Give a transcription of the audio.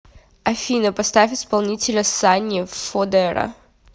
афина поставь исполнителя санни фодера